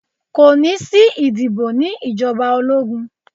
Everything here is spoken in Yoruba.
Kò ní sí ìdìbò ní ìjọba ológun.